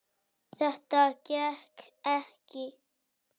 Þetta gekk ekki.